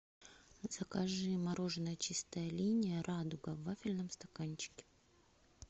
закажи мороженое чистая линия радуга в вафельном стаканчике